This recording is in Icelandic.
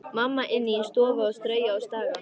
Mamma inni í stofu að strauja og staga.